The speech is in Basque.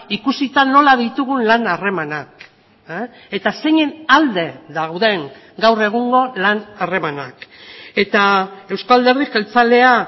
ikusita nola ditugun lan harremanak eta zeinen alde dauden gaur egungo lan harremanak eta euzko alderdi jeltzalea